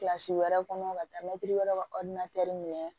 Kilasi wɛrɛ kɔnɔ ka taa mɛtiri wɛrɛ ka minɛ